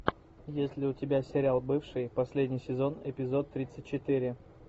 есть ли у тебя сериал бывшие последний сезон эпизод тридцать четыре